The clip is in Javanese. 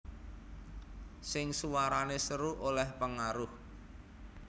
Sing suwarane seru oleh pengaruh